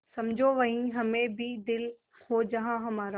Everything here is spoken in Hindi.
समझो वहीं हमें भी दिल हो जहाँ हमारा